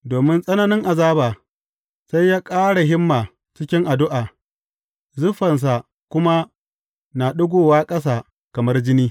Domin tsananin azaba, sai ya ƙara himma cikin addu’a, zuffansa kuma na ɗigowa ƙasa kamar jini.